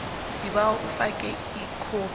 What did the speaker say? sibawa ufake ikhophi